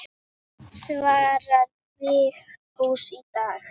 Svarar Vigfús í dag?